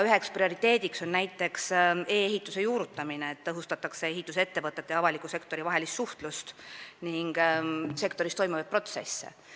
Üks prioriteet on näiteks e-ehituse juurutamine: tõhustatakse ehitusettevõtete ja avaliku sektori vahelist suhtlust ning sektoris toimuvaid protsesse.